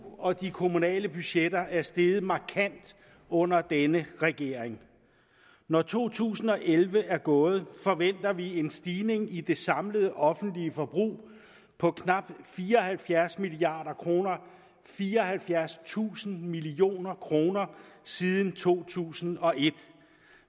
og de kommunale budgetter er steget markant under denne regering når to tusind og elleve er gået forventer vi en stigning i det samlede offentlige forbrug på knap fire og halvfjerds milliard kroner fireoghalvfjerdstusind million kroner siden to tusind og et